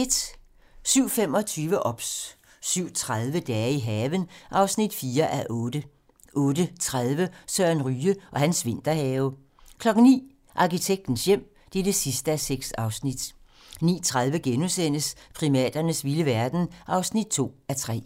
07:25: OBS 07:30: Dage i haven (4:8) 08:30: Søren Ryge og hans vinterhave 09:00: Arkitektens hjem (6:6) 09:30: Primaternes vilde verden (2:3)*